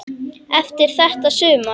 Eftir þetta sumar.